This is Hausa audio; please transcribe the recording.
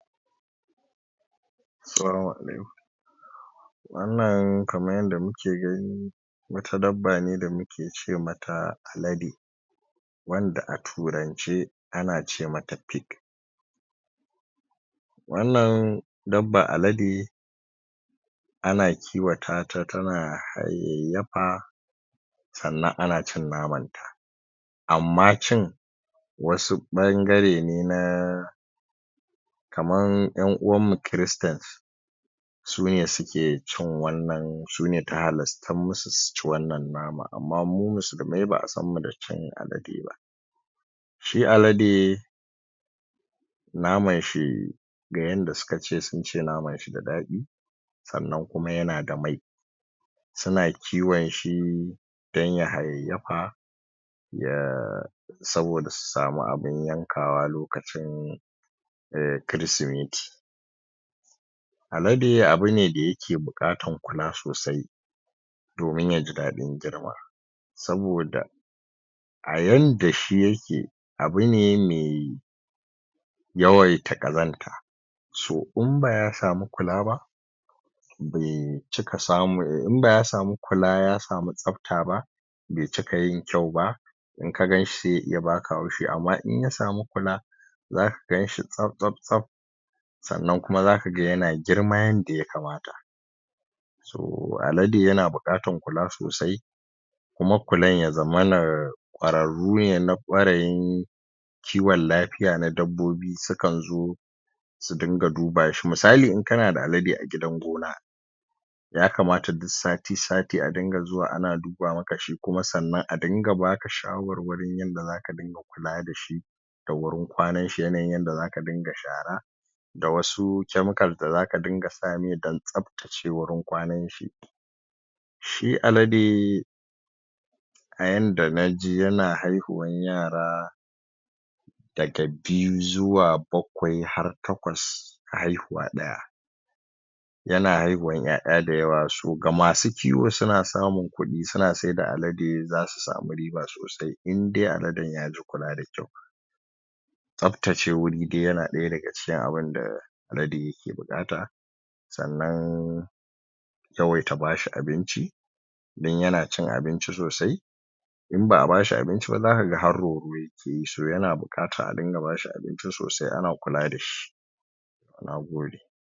salamu alaikum wan nan kaman yadda muke gani wata dabbace da muke ce mata alade wan da a turance ana ce mata pic wan nan dabban alade ana kiwotata tana hayaiyafa san nan anacin namanta amma cin wasu bangare ne naaa kaman yan uwan mu christans sune suke cin wannan, sune ta halasta musu su ci wan nan nama amma mu musulmai baa san mu da cin aladeba shi alade naman shi ga yadda suka ce, sunce namashi da dadi san nan kuma yana da mai suna kiwonshi dan ya hayaiyafa ya sabo da su samu abin yankawa lokacin kiristimeti alade abune da yake bukatan kula sosai domin ya ji dadin girma sabo da a yanda shi yake abune ma yawaita kazanta so in ba ya samu kula ba bai cika samun bai cika samun, in ba ya samu kula ya samu chabtaba bai cika yin kyauba in ka ganshi sai ya baka haushi amma in ya samu kula za ka ganshi shaf shaf san nan kuma zaka ga yana girma yadda ya kamata to alade yana, bukatan kula sosai kuma kulan ya zamana kwararrune, na kwarayin ciwon lafiya, na dabbobi sukan zo sun dinga dubashi, misali in ka na da alade a gidan gona ya kamata duk sati sati a rinka zuwa a na duba maka shi kuma san nan a ringa ba ka shawar warin yadda za ka rinka kula da shi da hurin kwanan shi, yanayin yadda zaka rinka shara da wa su chemical da zaka rinka sa mai dan tsaftace wurin kwanan shi shi alade a yadda na ji, yana haihuwan yara daga biyu, zuwa bakwai, har takwas haihuwa daya yana haihuwan yaya da yawa, so ga ma su ciwo suna samun kudi, suna saida alade za su samu riba sosai in dai aladen ya ji kula da kyau tsabtace huri duk ya na daya daga cikin abin da alade yake bukata san nan yawaita bashi abin ci dan yana cin abinci sosai in ba a bashi abinciba za ka ga har roro yakeyi so yana bukatan a rinka bashi abinci sosai ana kula dashi na gode